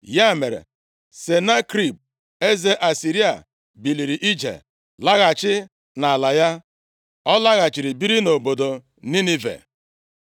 Ya mere, Senakerib, eze Asịrịa biliri ije, laghachi nʼala ya. Ọ laghachiri biri nʼobodo Ninive.